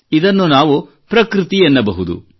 ಇದನ್ನು ನಾವು ಪ್ರಕೃತಿ ಎನ್ನಬಹುದು